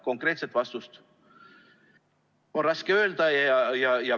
Konkreetset vastust on raske öelda.